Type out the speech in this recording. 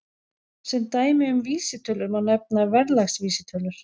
Sem dæmi um vísitölur má nefna verðlagsvísitölur.